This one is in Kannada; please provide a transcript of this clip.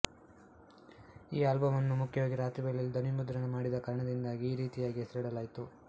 ಈ ಆಲ್ಬಮ್ ಅನ್ನು ಮುಖ್ಯವಾಗಿ ರಾತ್ರಿ ವೇಳೆಯಲ್ಲಿ ಧ್ವನಿಮುದ್ರಣ ಮಾಡಿದ ಕಾರಣದಿಂದ ಈ ರೀತಿಯಾಗಿ ಹೆಸರಿಡಲಾಯಿತು